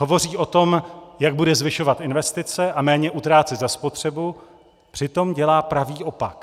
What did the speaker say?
Hovoří o tom, jak bude zvyšovat investice a méně utrácet za spotřebu, přitom dělá pravý opak.